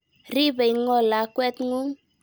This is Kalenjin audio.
Ripei ng'o lakwet ng'ung'?